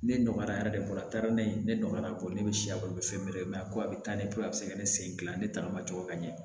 Ne nɔgɔyara a taara ne ye ne nɔgɔyara ne bɛ siya balo fɛn bɛɛ ko a bɛ taa ne bolo a bɛ se ka ne sen dilan ne tagama cogo ka ɲɛ